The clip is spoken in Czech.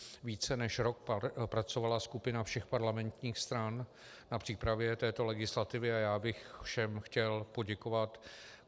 Více než rok pracovala skupina všech parlamentních stran na přípravě této legislativy a já bych všem chtěl poděkovat.